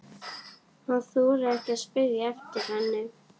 Hann þorir ekki að spyrja eftir henni.